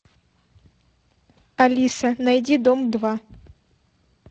алиса найди дом два